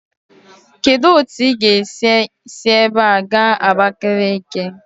Kedu otu ị ga-esi si ebe a gaa Abakeleke?